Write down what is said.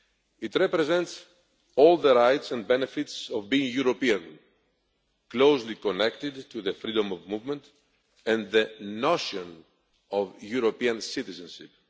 It represents all the rights and benefits of being European, as it is closely connected to the freedom of movement and the notion of European citizenship.